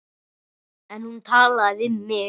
En hún talaði við mig.